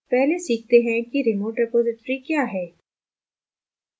पहले सीखते हैं कि remote repository क्या है